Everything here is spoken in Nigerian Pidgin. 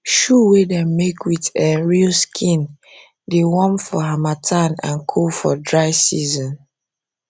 um shoe wey dem make with um real skin dey warm for harmattan and cool for dry season